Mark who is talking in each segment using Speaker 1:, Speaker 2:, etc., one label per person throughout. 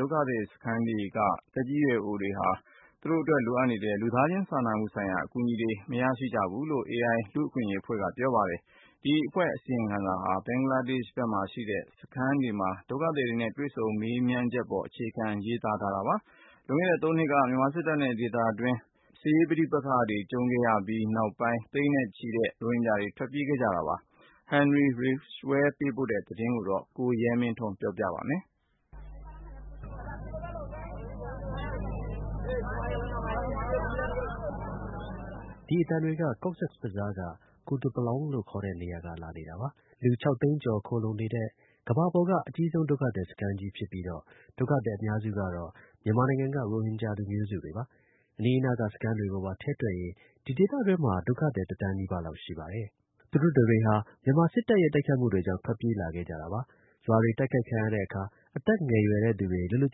Speaker 1: ဒုက္ခသည်စခန်းတွေမှာ ရောက်ရှိနေတဲ့ သက်ကြီးရွယ်အိုတွေဟာ သူတို့အတွက် လိုအပ်နေတဲ့ လူသားချင်း စာနာမှုဆိုင်ရာ အကူအညီတွေ မရရှိကြဘူးလို့ Amnesty International အဖွဲ့က ပြောပါတယ်။ ဒီအဖွဲ့ရဲ့ အစီရင်ခံစာဟာ ဘင်္ဂလားဒေ့ရှ်နိုင်ငံဘက်မှာ ရှိတဲ့ စခန်းတွေမှာ ဒုက္ခသည်တွေနဲ့ တွေ့ဆုံမေးမြန်းချက်တွေအပေါ် အခြေခံရေးသားထားပါတယ်။ လွန်ခဲ့တဲ့ ၃ နှစ်က မြန်မာစစ်တပ်နဲ့ ဒေသတွင်းက လူမျိုးစု စစ်သွေးကြွတွေ ပဋိပက္ခစတင်ရာကနေ ရခိုင်ပြည်နယ်မြောက်ပိုင်းက မူဆလင် ရိုဟင်ဂျာ သန်းချီ ထွက်ပြေးခဲ့ကြပါတယ်။ Henry Ridgwell သတင်းပေးပို့ထားတာကို ကိုရဲမင်းထွန်းက တင်ပြပေးပါမယ်
Speaker 2: ။
Speaker 3: ဒီ အသံတွေက Cox’s Bazar က Kutupalong လို့ခေါ်တဲ့နေရာက လာနေတာပါ။ လူ ၆ သိန်းကျော် ခိုလှုံနေတဲ့ ကမ္ဘာပေါ်က အကြီးဆုံး ဒုက္ခသည် စခန်းကြီး ဖြစ်ပြီးတော့ ဒုက္ခသည် အများစုကတော့ မြန်မာနိုင်ငံက ရိုဟင်ဂျာ လူမျိုးစုတွေပါ။ အနီးအနားက စခန်းတွေကိုပါ ထည့်တွက်ရင် ဒီဒေသတွင်းမှာ ဒုက္ခသည် တစ်သန်း နီးပါးလောက် ရှိပါတယ်။ သူတို့တွေဟာ မြန်မာစစ်တပ်ရဲ့ တိုက်ခိုက်မှုတွေကြောင့် ထွက်ပြေးလာခဲ့ကြတာပါ။ ရွာတွေ တိုက်ခိုက်ခံရတဲ့ အခါ အသက် ငယ်တဲ့သူတွေ လွတ်လွတ်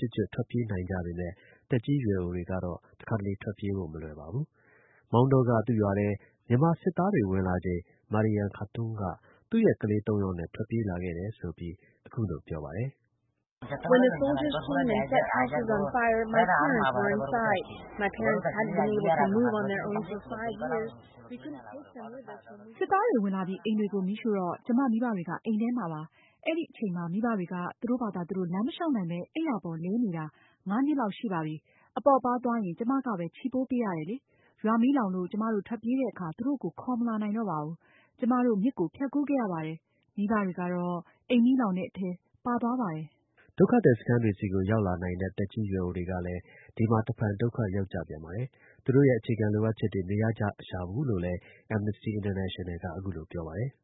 Speaker 3: ကျွတ်ကျွတ် ထွက်ပြေးနိုင်ကြပေမဲ့ သက်ကြီးရွယ်အိုတွေကတော့ တစ်ခါတစ်လေ ထွက်ပြေးဖို့ မလွယ်ပါဘူး။ မောင်တောက သူ့ ရွာထဲ မြန်မာ စစ်သားတွေ ဝင်လာချိန် Mariam Khatun က သူ့ရဲ့ ကလေး ၃ ယောက်နဲ့ ထွက်ပြေးလာခဲ့တယ်ဆိုပြီး အခုလို ပြောပါတယ်။ “စစ်
Speaker 2: သားတွေ ဝင်လာပြီး အိမ်တွေကို မီးရှို့တော့ ကျွန်မ မိဘတွေက အိမ်ထဲမှာပါ။ အဲဒီ အချိန်မှာ မိဘတွေက သူတို့ဘာသာသူတို့ လမ်းမလျှောက်နိုင်ဘဲ အိပ်ရာပေါ် လဲနေတာ ၅ နှစ်လောက် ရှိပါပြီ။ အပေါ့အပါးသွားရင် ကျွန်မကပဲ ချီပိုး ပေးရတယ်လေ။ ရွာ မီးလောင်လို့ ကျွန်မတို့ ထွက်ပြေးတဲ့အခါ သူတို့ကို ခေါ်မလာနိုင်တော့ပါဘူး။ ကျွန်မတို့ မြစ်ကို ဖြတ်ကူးခဲ့ရပါတယ်။ မိဘတွေကတော့ အိမ်မီးလောင်တဲ့ အထဲ ပါသွားပါတယ်။
Speaker 3: ” ဒုက္ခသည်စခန်းတွေဆီကို ရောက်လာနိုင်တဲ့ သက်ကြီးရွယ်အိုတွေကလည်း ဒီမှာ တစ်ဖန် ဒုက္ခရောက်ကြပြန်ပါတယ်။ သူတို့ရဲ့ အခြေခံ လိုအပ်ချက်တွေ မရကြရှာဘူးလို့လည်း Amnesty International က ပြောပါတယ်။ “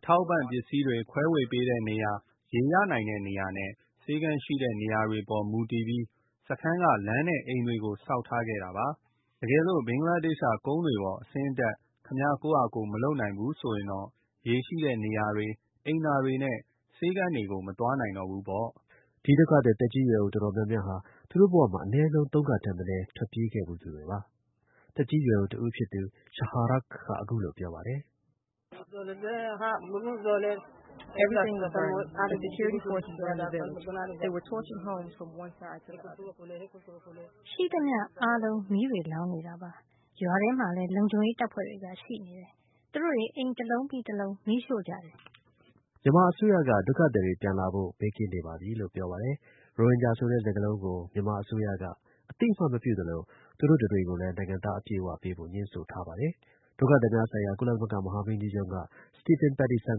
Speaker 1: အထောက်အပံ့ ပစ္စည်းတွေ ခွဲဝေပေးတဲ့ နေရာ၊ ရေရနိုင်တဲ့နေရာနဲ့ ဆေခန်း ရှိတဲ့နေရာတွေအပေါ် မူတည်ပြီး စခန်းက လမ်းနဲ့ အိမ်တွေကို ဆောက်ထားခဲ့တာပါ။ တကယ်လို့ ဘင်္ဂလားဒေ့ရှ်က ကုန်းတွေပေါ် အဆင်းအတက် ခင်ဗျား ကိုယ့်ဟာကိုယ် မလုပ်နိုင်ဘူးဆိုရင်တော့ ရေ ရှိတဲ့နေရာတွေ အိမ်သာတွေနဲ့ ဆေးခန်းတွေကို မသွားနိုင်တော့ဘူးပေါ့။
Speaker 3: ” ဒီ ဒုက္ခသည် သက်ကြီးရွယ်အို တော်တော်များများဟာ သူတို့ဘဝမှာ အနည်းဆုံး သုံးခါထက်မနည်း ထွက်ပြေးဖူးတဲ့သူတွေပါ။ သက်ကြီးရွယ်အိုတစ်ဦးဖြစ်သူ Shaharuk က အခုလို ပြောပါတယ်။ “ ရှိသမျှအားလုံး မီးတွေလောင်နေတာပါပဲ။ ရွာထဲမှာလည်း လုံခြုံရေးတပ်ဖွဲ့တွေ ရှိနေတယ်။ သူတို့တွေ အိမ် တစ်လုံးပြီး တစ်လုံး မီးရှို့ကြတယ်။” မြန်မာ အစိုးရက ဒုက္ခသည်တွေ ပြန်လာဖို့ ဘေးကင်းနေပါပြီလို့ ပြောပါတယ်။ ရိုဟင်ဂျာဆိုတဲ့ စကားလုံကို မြန်မာအစိုးရက အသိအမှတ်မပြုသလို သူတို့တစ်တွေကိုလည်း နိုင်ငံသား အပြည့်အ၀ ပေးဖို့ ငြင်းဆိုထားပါတယ်။ ဒုက္ခသည်များဆိုင်ရာ ကုလသမဂ္ဂ မဟာမင်းကြီးရုံးက Stephen Pattison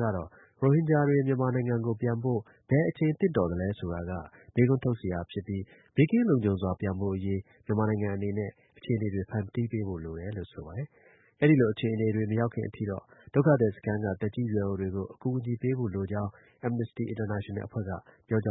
Speaker 3: ကတော့ ရိုဟင်ဂျာတွေ မြန်မာနိုင်ငံကို ပြန်ဖို့ ဘယ်အချိန် သင့်တော်သလဲ ဆိုတာက မေးခွန်းထုတ်စရာ ဖြစ်ပြီး ဘေးကင်းလုံခြုံစွာ ပြန်ဖို့အရေး မြန်မာနိုင်ငံအနေနဲ့ အခြေအနေတွေ ဖန်တီးပေးဖို့ လိုတယ်လို့ ဆိုပါတယ်။ အဲဒီလို အခြေအနေ မရောက်ခင်အထိတော့ ဒုက္ခသည် စခန်းက သက်ကြီး ရွယ်အိုတွေကို အကူအညီပေးဖို့ လိုကြောင်း Amnesty International အဖွဲ့က ပြောကြ